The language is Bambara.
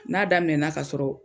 N'a daminɛna ka sɔrɔ